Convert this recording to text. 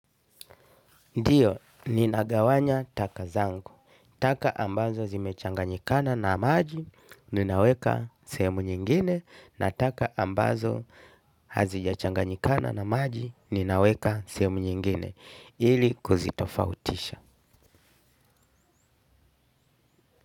Ndio, ninagawanya taka zangu, taka ambazo zimechanganyikana na maji, ninaweka sehemu nyingine, na taka ambazo hazijachanganyikana na maji, ninaweka sehemu nyingine, ili kuzitofautisha.